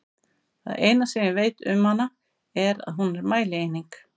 Það eina sem ég veit um hana er að hún er mælieining!